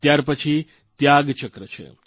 ત્યારપછી ત્યાગચક્ર છે